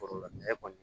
Foro la ɲɛ kɔni